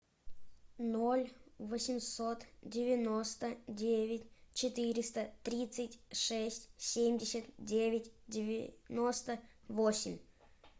ноль восемьсот девяносто девять четыреста тридцать шесть семьдесят девять девяносто восемь